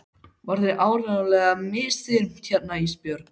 Var þér áreiðanlega misþyrmt hérna Ísbjörg?